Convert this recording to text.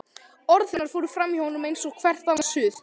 Orð hennar fóru framhjá honum eins og hvert annað suð.